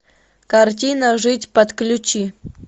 картина жить подключи